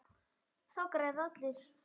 Þá græða allir.